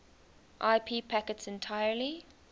ip packets entirely